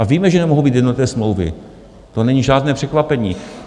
A víme, že nemohou být jednotné smlouvy, to není žádné překvapení.